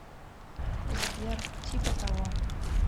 сбер типа того